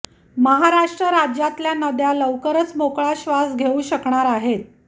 महाराष्ट्र राज्यातल्या नद्या लवकरच मोकळा श्वास घेऊ शकणार आहेत